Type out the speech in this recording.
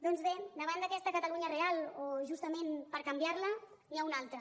doncs bé davant d’aquesta catalunya real o justament per canviar la n’hi ha una altra